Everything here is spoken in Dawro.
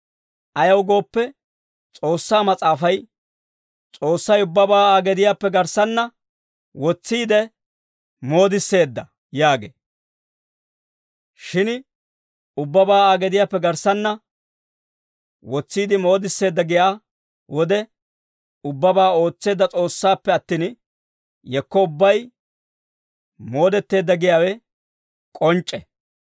Ayaw gooppe, S'oossaa Mas'aafay, «S'oossay ubbabaa Aa gediyaappe garssanna wotsiide moodisseedda» yaagee. Shin ubbabaa Aa gediyaappe garssanna wotsiide moodisseedda giyaa wode, ubbabaa ootseedda S'oossaappe attin, yekko ubbay moodetteedda giyaawe k'onc'c'e.